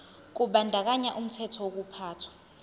kubandakanya umthetho wokuphathwa